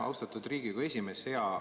Austatud Riigikogu esimees!